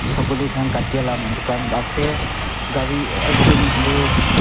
soguli khan kati laga dukan ase aru ekjont tu--